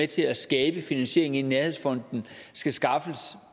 til at skabe finansiering i nærhedsfonden skal skaffes